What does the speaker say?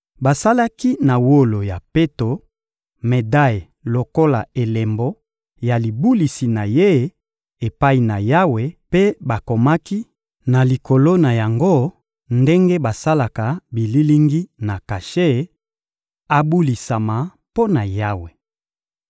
Basalaki na wolo ya peto medaye lokola elembo ya libulisi na ye epai na Yawe mpe bakomaki na likolo na yango ndenge basalaka bililingi na kashe: abulisama mpo na Yawe.